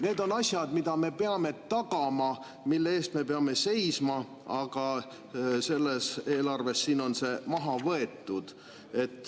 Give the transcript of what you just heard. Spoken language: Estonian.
Need on asjad, mida me peame tagama, mille eest me peame seisma, aga selles eelarves on see maha võetud.